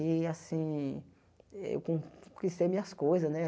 E, assim, eu conquistei minhas coisas, né?